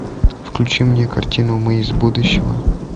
включи мне картину мы из будущего